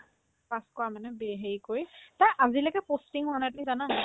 pass কৰা মানে বি হেৰি কৰি তাইৰ আজিলৈকে posting হোৱা নাই তুমি জানা